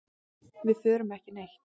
Við förum ekki neitt.